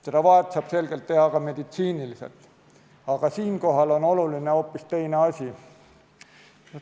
Seda vahet saab selgelt teha ka meditsiiniliselt, aga siinkohal on oluline hoopis teine asi.